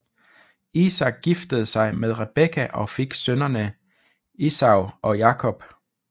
Isak giftede sig med Rebekka og fik sønnene Esau og Jakob